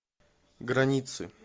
границы